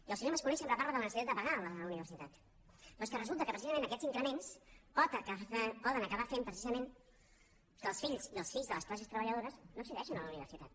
i el senyor mas colell sempre parla de la necessitat de pagar la universitat però és que resulta que precisament aquests increments poden acabar fent precisament que les filles i els fills de les classes treballadores no accedeixin a la universitat